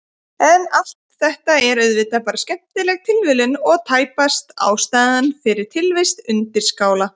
En allt þetta er auðvitað bara skemmtileg tilviljun og tæpast ástæðan fyrir tilvist undirskála.